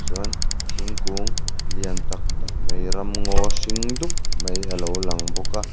chuan thingkung lian tak tak mai ramngaw hring dup mai a lo lang bawka.